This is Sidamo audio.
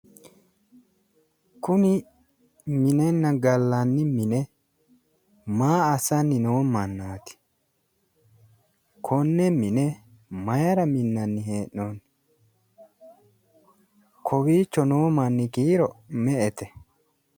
kuni minenna gallanni mine maa assanni noo mannaati? konne mine mayira minnanni hee'noonni? kowiicho noo manni kiiro me''ete?